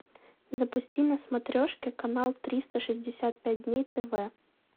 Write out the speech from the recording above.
запусти на смотрешке канал триста шестьдесят пять дней тв